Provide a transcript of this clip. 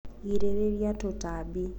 girĩrĩria tũtambi